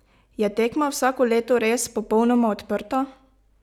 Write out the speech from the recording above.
Je tekma vsako leto res popolnoma odprta?